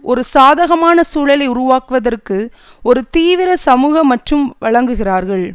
ஒரு சாதகமான சூழலை உருவாக்குவதற்கு ஒரு தீவிர சமூக மற்றும் வழங்குகிறார்கள்